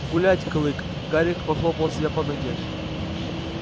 гулять клык гарри похлопал себя по ноге